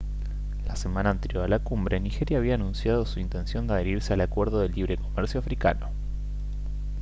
la semana anterior a la cumbre nigeria había anunciado su intención de adherirse al acuerdo de libre comercio africano